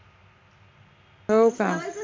हो का